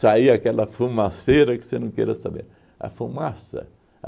saía aquela fumaceira que você não queira saber. A fumaça